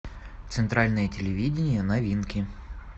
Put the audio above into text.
центральное телевидение новинки